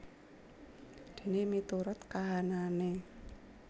Dene miturut kahanane